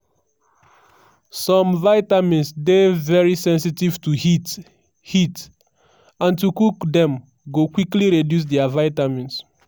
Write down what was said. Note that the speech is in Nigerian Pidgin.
some vitamins dey very sensitive to heat heat and to cook dem go quickly reduce dia vitamins.